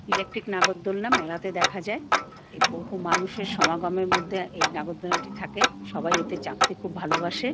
Electric নাগরদোলনা মেলাতে দেখা যায়। এ বহু মানুষের সমাগমের মধ্যে এই নাগরদোলনাটি থাকে। সবাই এতে চাপতে খুব ভালোবাসে-এ ।